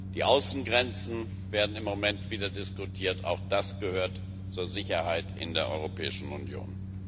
Die Außengrenzen werden im Moment wieder diskutiert, auch das gehört zur Sicherheit in der Europäischen Union.